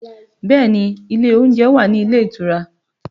Bẹẹ ni, ilé oúnjẹ wà nílé ìtura